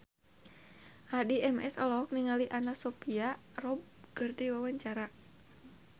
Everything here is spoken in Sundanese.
Addie MS olohok ningali Anna Sophia Robb keur diwawancara